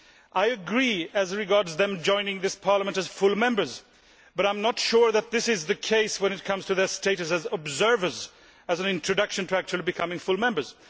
I agree as regards them joining this Parliament as full Members, but I am not sure that this is the case when it comes to their status as observers as an introduction to actually becoming full Members.